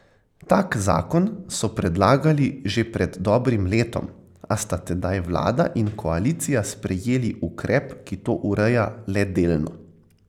Tak zakon so predlagali že pred dobrim letom, a sta tedaj vlada in koalicija sprejeli ukrep, ki to ureja le delno.